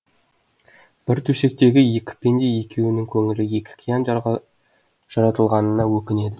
бір төсектегі екі пенде екеуінің көңілі екі қиян жаратылғанына өкінеді